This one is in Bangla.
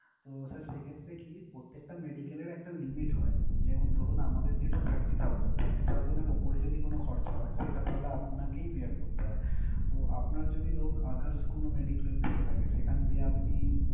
তো sir সেক্ষেত্রে কি প্রত্যেকটা medical এর একটা limit হয়, যেমন ধরুন আমাদের যেটা thirty thousand thirty thousand এর ওপরে যদি কোন খরচা হয় সেটা তাহলে আপনাকেই bear করতে হয়। তো আপনার যদি ধরুন others কোন medi-claim থেকে থাকে সেখান দিয়ে আপনি,